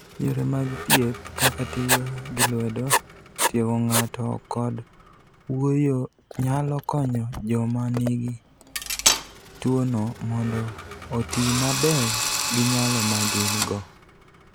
Yore mag thieth kaka tiyo gi lwedo, tiego ng'ato, kod wuoyo nyalo konyo joma nigi tuwono mondo oti maber gi nyalo ma gin-go.